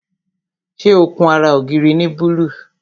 Ṣé ó kun ara ògiri ní búlúù?